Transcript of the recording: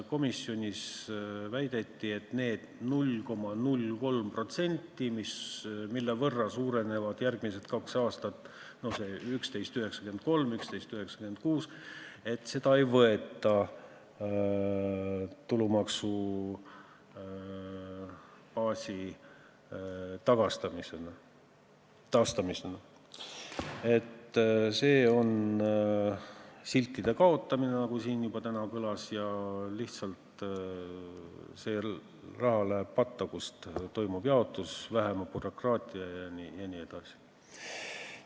Komisjonis väideti, et neid 0,03%, mille võrra järgmised kaks aastat baas suureneb, 11,93% ja 11,96%, ei võeta tulumaksubaasi taastamisena, see on siltide kaotamine, nagu siin juba täna kõlas, ja see raha läheb lihtsalt patta, kust toimub jaotus vähema bürokraatiaga jne.